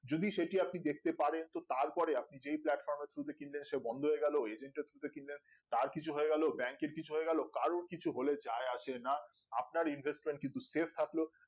যদি সেটি আপনি দেখতে পারেন তো তারপরে আপনি যেই platform র through তে কিনবেন সে বন্ধ হয়ে গেলো agent এর through তার কিছু হয়ে গেলো bank এর কিছু হয়ে গেলো কারোর কিছু হলে যাই আসে না আপনার investual কিন্তু save থাকলো